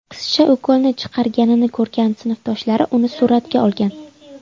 Qizcha ukolni chiqarganini ko‘rgan sinfdoshlari uni suratga olgan.